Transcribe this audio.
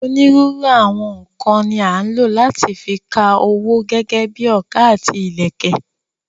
Onírúurú àwọn nǹkan ni à ń lò láti fi ka owó gẹ́gẹ́ bíi ọkà àti ìlẹ̀kẹ̀.